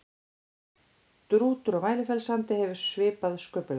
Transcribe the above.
Strútur á Mælifellssandi hefur svipað sköpulag.